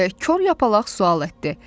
deyə kor yapalaq sual etdi.